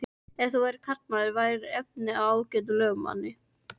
Ef þú værir karlmaður værirðu efni í ágætan lögmann.